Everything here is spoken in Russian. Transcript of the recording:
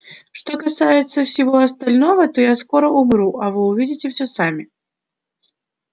что касается всего остального то я скоро умру а вы увидите всё сами